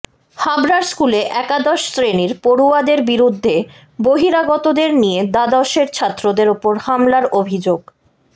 হাবড়ার স্কুলে একাদশ শ্রেণির পড়ুয়াদের বিরুদ্ধে বহিরাগতদের নিয়ে দ্বাদশের ছাত্রদের উপর হামলার অভিযোগ